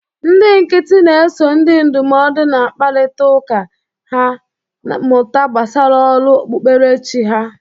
Ndị nkịtị na-eso ndị ndụmọdụ na-akparịta ụka ka ha mụta gbasara ọrụ okpukperechi ha